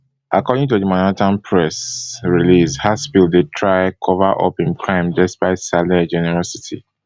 according to di manhattan press releasehaspil try cover up im crime depsite saleh generosity